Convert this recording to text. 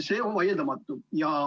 See on vaieldamatu.